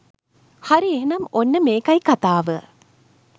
හරි එහෙනම් ඔන්න මේකයි කතාව